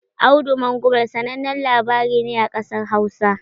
"Audu Mangumal" sanannen labari ne a ƙasar Hausa.